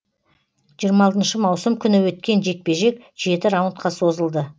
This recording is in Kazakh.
жиырма алтыншы маусым күні өткен жекпе жек жеті раундқа созылды